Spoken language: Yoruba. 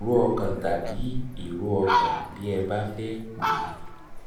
ìró ọkàn tàbí ìró tàbí ìró ọkàn bí ẹ bá fẹ́ pe ó